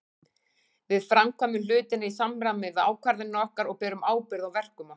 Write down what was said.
Við framkvæmum hlutina í samræmi við ákvarðanir okkar og berum ábyrgð á verkum okkar.